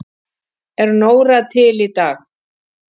Er Nóra til í dag?